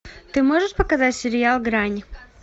ты можешь показать сериал грань